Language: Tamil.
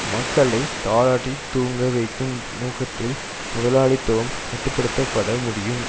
மக்களை தாலாட்டித் தூங்க வைக்கும் நோக்கத்தில் முதலாளித்துவம் கட்டு படுத்த பட முடியும்